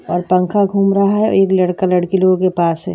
यहाँ पंखा घूम रहा हैं एक लड़का लड़की लोगो के पास हैं।